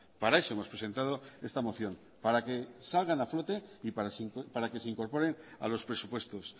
para eso hemos presentado esta moción para que salgan a flote y para que se incorporen a los presupuestos